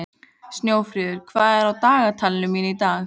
Snjófríður, hvað er í dagatalinu mínu í dag?